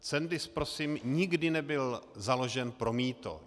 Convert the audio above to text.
Cendis prosím nikdy nebyl založen pro mýto.